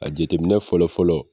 A jateminɛinɛ fɔlɔ fɔlɔ